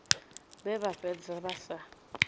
vhe vha fhedza vha si